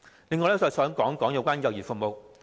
此外，我亦想談談幼兒服務。